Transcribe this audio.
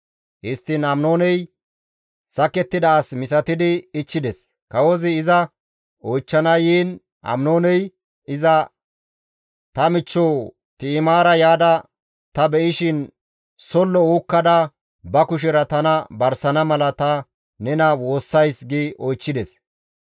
Histtiin Aminooney sakettida as misatidi ichchides; kawozi iza oychchana yiin Aminooney iza, «Ta michcho Ti7imaara yaada ta be7ishin sollo uukkada ba kushera tana barsana mala ta nena woossays» gi oychchides.